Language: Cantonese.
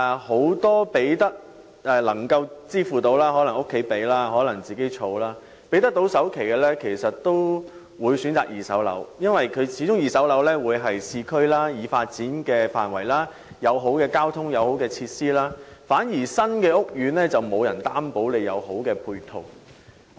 很多有能力支付首期的人，無論是靠家人幫助或自行儲蓄，都會選擇購買二手樓宇，因為這些樓宇始終座落於已發展的市區範圍，並有良好的交通配套和設施，新屋苑反而未必有良好的配套。